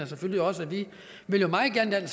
selvfølgelig også vi vil meget gerne